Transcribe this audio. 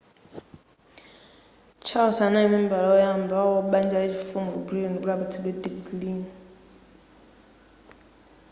charles anali membala oyamba wa banja la chifumu ku britain kuti apatsidwe digiri